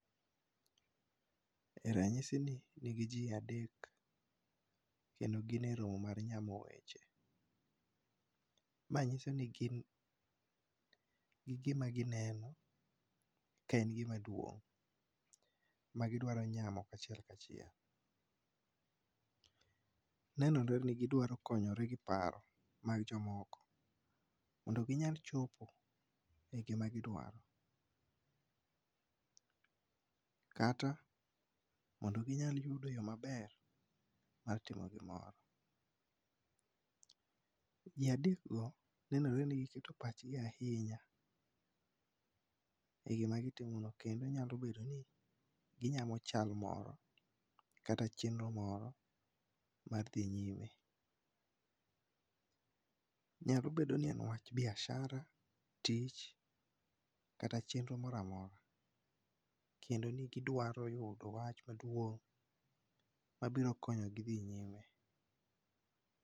E ranyisini nigi ji adek. Kendo gin e romo mar nyamo weche. Ma nyiso ni gin gi gima gineno ka en gima duong', ma gidwaro nyamo ka achiel ka achiel. Nenore ni gidwaro konyore gi paro mag jomoko. Mondo ginyal chopo e gima gidwaro. Kata mondo ginyal yudo yo maber mar timo gimoro. Ji adek go, nenore ni giketo pachgi ahinya e gima gitimo no. Kendo nyalo bedo ni ginyamo chal moro, kata chenro moro mar dhi nyime. Nyalo bedo ni en wach biashara, tich, kata chenro moro amora. Kendo ni gidwaro yudo wach maduong', mabiro konyo gi dhi nyime.